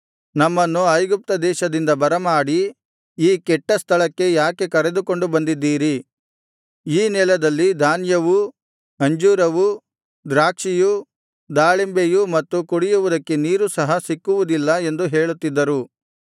ನಮ್ಮನ್ನು ಐಗುಪ್ತ ದೇಶದಿಂದ ಬರಮಾಡಿ ಈ ಕೆಟ್ಟ ಸ್ಥಳಕ್ಕೆ ಯಾಕೆ ಕರೆದುಕೊಂಡು ಬಂದಿದ್ದೀರಿ ಈ ನೆಲದಲ್ಲಿ ಧಾನ್ಯವೂ ಅಂಜೂರವೂ ದ್ರಾಕ್ಷಿಯೂ ದಾಳಿಂಬೆಯೂ ಮತ್ತು ಕುಡಿಯುವುದಕ್ಕೆ ನೀರೂ ಸಹ ಸಿಕ್ಕುವುದಿಲ್ಲ ಎಂದು ಹೇಳುತ್ತಿದ್ದರು